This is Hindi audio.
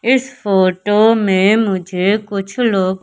इस फोटो में मुझे कुछ लोग--